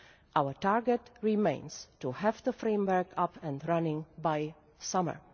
Our target remains to have the framework up and running by summer.